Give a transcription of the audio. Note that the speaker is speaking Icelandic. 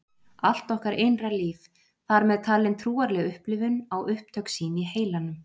Allt okkar innra líf, þar með talin trúarleg upplifun, á upptök sín í heilanum.